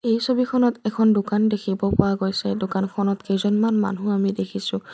এই ছবিখনত এখন দোকান দেখিব পোৱা গৈছে দোকানখনত দুজন মান মানুহ আমি দেখিছোঁ।